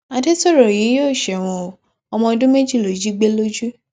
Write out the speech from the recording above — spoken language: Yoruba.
àdètòrò yìí yóò ṣẹwọn o ọmọ ọdún méjì ló jí gbé lojú